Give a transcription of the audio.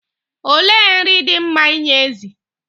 Olee nri dị mma inye ezì?